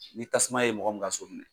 Ni tasuma ye mɔgɔ min ka so minɛ